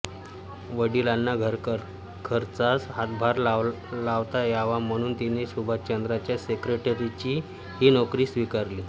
वडिलांना घरखर्चास हातभार लावता यावा म्हणून तिने सुभाषचंद्रांच्या सेक्रेटरीची ही नोकरी स्वीकारली